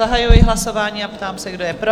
Zahajuji hlasování a ptám se, kdo je pro?